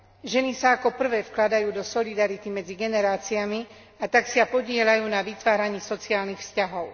Ženy sa ako prvé vkladajú do solidarity medzi generáciami, a tak sa podieľajú na vytváraní sociálnych vzťahov.